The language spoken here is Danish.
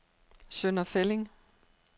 Sønder Felding